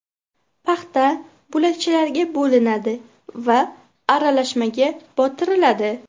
Paxta bo‘lakchalarga bo‘linadi va aralashmaga botiriladi.